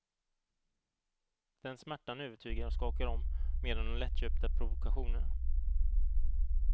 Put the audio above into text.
Den smärtan övertygar och skakar om mer än de lättköpta provokationerna.